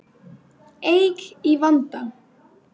Eik í vanda